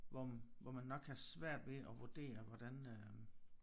Hvor hvor man nok har svært ved at vurdere hvordan øh